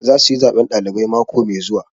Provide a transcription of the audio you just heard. Za su yi zaɓen ɗalibai mako mai zuwa